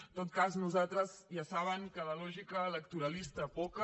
en tot cas nosaltres ja saben que de lògica electoralista poca